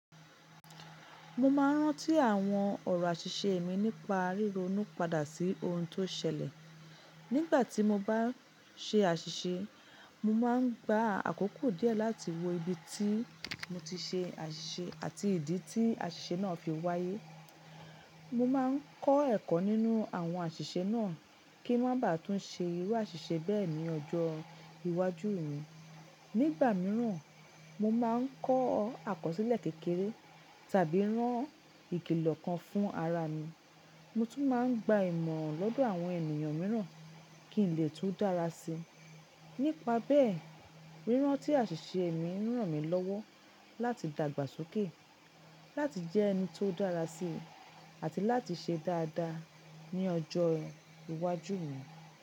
Mo máa ń rántí àwọn ọ̀rọ̀ àṣìṣe mi nípa ríro nú padà sí ohun tó ṣẹlẹ̀. Nígbà tí mo bá ṣe àṣìṣe, mo máa ń gba àkókò díẹ̀ láti wo ibi tí mo ti ṣe àṣìṣe àti ìdí tí àṣìṣe náà fi wáyé. Mo máa ń kọ́ ẹ̀kọ́ nínú àwọn àṣìṣe náà kí ń má ba à tún ṣe irú àṣìṣe bẹ́ẹ̀ ní ọjọ́ iwájú mi. Nígbà mìíràn, mo máa ń kọ́ àkọsílẹ̀ kékeré tàbí rán ìkìlọ̀ kan fún ara mi. Mo tún máa ń gba ìmọ̀ràn lọ́dọ̀ àwọn ènìyàn mìíràn kí n lè tún dára sí i. Nípa bẹ́ẹ̀, rírántí àṣìṣe mi ń ràn mí lọ́wọ́ láti dàgbàsókè, láti jẹ́ ẹni tó dára sí i, àti láti ṣe dáadáa ní ọjọ́ iwájú mi.